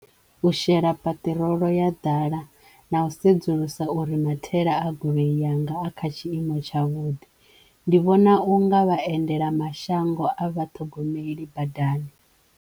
U shela paṱirolo ya ḓala na u sedzulusa uri mathaela a goloi yanga a kha tshiimo tsha vhuḓi ndi vhona u nga vhaendela mashango a vhathogomeli badani.